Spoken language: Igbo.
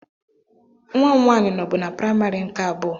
Nwa m nwaanyị nọbu na praimarị nke abụọ